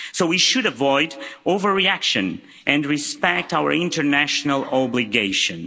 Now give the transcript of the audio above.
So we should avoid overreaction and respect our international obligations.